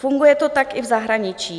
Funguje to tak i v zahraničí.